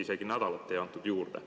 Isegi nädalat ei antud juurde.